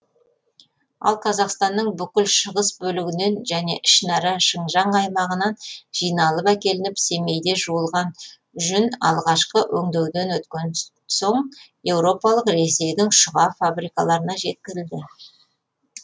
ал қазақстанның бүкіл шығыс бөлігінен және ішінара шыңжаң аймағынан жиналып әкелініп семейде жуылған жүн алғашқы өңдеуден өткеннен соң еуропалық ресейдің шұға фабрикаларына жеткізілді